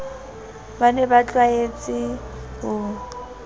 ba ne ba tlwahetse ho